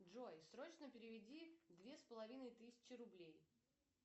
джой срочно переведи две с половиной тысячи рублей